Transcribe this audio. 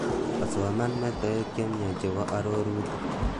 asoman metoek chemiach chebo arorutik